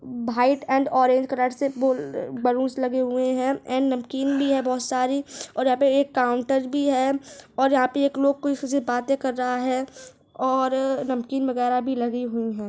White और orange colour से दो बलुंस लगे हुए है एंड नमकीन भी है बहुत सारी और अब एक काउन्टर भी है और यहाँ पे एक लोग कोई किसी से बाते कर रहा है और नमकीन वगैरह भी लगी हुई है।